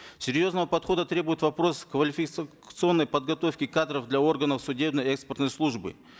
серьезного подхода требует вопрос подготовки кадров для органов судебно экспертной службы